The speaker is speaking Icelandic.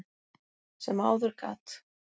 sem áður gat.